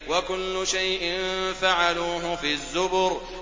وَكُلُّ شَيْءٍ فَعَلُوهُ فِي الزُّبُرِ